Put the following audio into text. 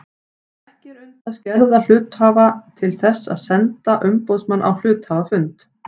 Ekki er unnt að skerða rétt hluthafa til þess að senda umboðsmann á hluthafafund.